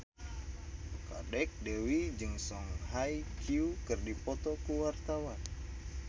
Kadek Devi jeung Song Hye Kyo keur dipoto ku wartawan